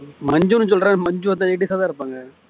மஞ்சுன்னு சொல்றேன் மஞ்சு வந்து ladies ஆ தான் இருப்பாங்க